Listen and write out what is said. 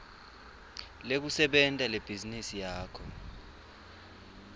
lekusebenta lebhizinisi yakho